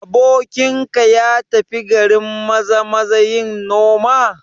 Abokinka ya tafi garin Maza-maza yin noma?